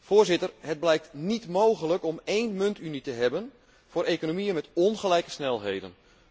Voorzitter, het blijkt niet mogelijk om één muntunie te hebben voor economieën met ongelijke snelheden.